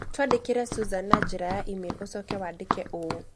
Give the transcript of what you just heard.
Twandĩkĩre Susan na njĩra ya e-mail ũcoke wandike ũũ: